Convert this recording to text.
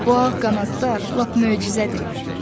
Bu ağ qanadlar lap möcüzədir, dedi.